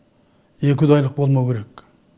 екіұдайлық болмауы керек